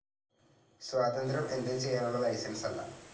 സ്വാതന്ത്ര്യം എന്തും ചെയ്യാനുള്ള ലൈസൻസല്ല.